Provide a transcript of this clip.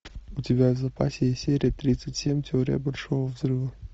у тебя в запасе есть серия тридцать семь теория большого взрыва